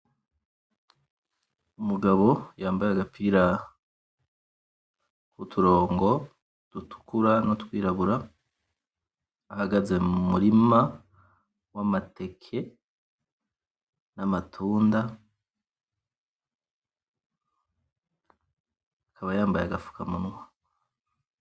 Umugabo yambaye agapira kuturongo dutukura, n'utwirabura ahagaze mumurima w'Amateke, n'Amatunda. Akaba yambaye agafukamunwa.